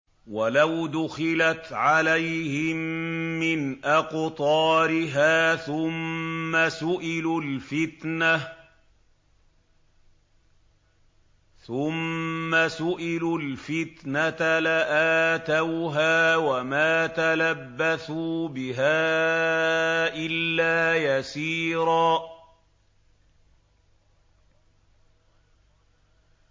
وَلَوْ دُخِلَتْ عَلَيْهِم مِّنْ أَقْطَارِهَا ثُمَّ سُئِلُوا الْفِتْنَةَ لَآتَوْهَا وَمَا تَلَبَّثُوا بِهَا إِلَّا يَسِيرًا